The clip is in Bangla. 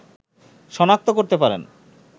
শনাক্ত করতে পারেন